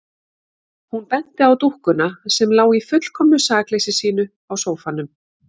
Hún benti á dúkkuna sem lá í fullkomnu sakleysi sínu á sófanum.